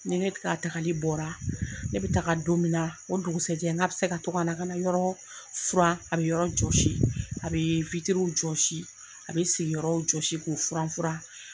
Ni ne ka tagali bɔra ne bɛ taga don min na o dugusɛ jɛ n ka bɛ se ka to ka na ka yɔrɔ furan a bɛ yɔrɔ jɔsi a bɛ jɔsi a bɛ sigiyɔrɔw jɔsi k'o furan furan.